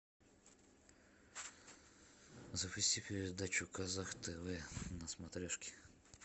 запусти передачу казах тв на смотрешке